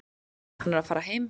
Hann er að fara heim.